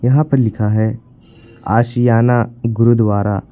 यहां पर लिखा है आशियाना गुरुद्वारा।